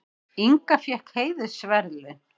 Inga fékk heiðursverðlaun